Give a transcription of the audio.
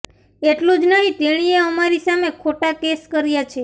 એટલું જ નહીં તેણીએ અમારી સામે ખોટા કેસ કર્યા છે